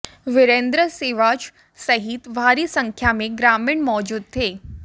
विरेंद्र सिवाच सहित भारी संख्या में ग्रामीण मौजूद थे